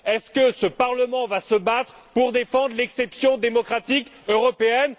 Est ce que ce Parlement va se battre pour défendre l'exception démocratique européenne?